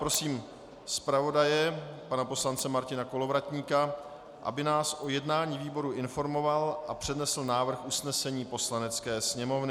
Prosím zpravodaje pana poslance Martina Kolovratníka, aby nás o jednání výboru informoval a přednesl návrh usnesení Poslanecké sněmovny.